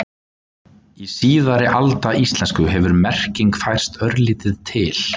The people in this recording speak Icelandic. Í síðari alda íslensku hefur merkingin færst örlítið til.